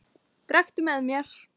Drekktu með mér!